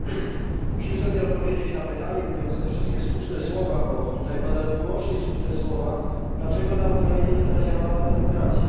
Panie Przewodniczący! Musimy sobie odpowiedzieć na pytanie, mówiąc te wszystkie słuszne słowa, bo tutaj padają wyłącznie słuszne słowa, dlaczego na Ukrainie nie zadziałała demokracja.